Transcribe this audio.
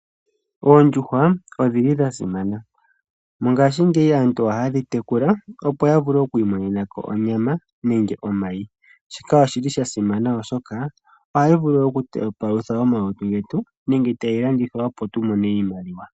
Oondjuhwa odhili dha simana. Mongashingeyi aantu ohaye dhi tekula opo ya vule okwiimonena ko onyama nenge omayi. Shika oshili sha simana oshoka ohayi vulu okupalutha omalutu getu nenge tayi landithwa opo tu mone iimaliwa.